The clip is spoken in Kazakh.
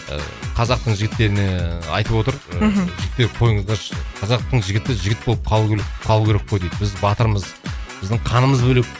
ыыы қазақтың жігіттеріне ыыы айтып отыр ыыы мхм жігіттер қойыңыздаршы қазақтың жігіті жігіт болып калу керек қалуы керек қой дейді біз батырмыз біздің қанымыз бөлек